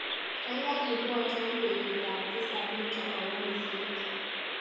Kaikai ibwatwa betutap tisap nito awo miset.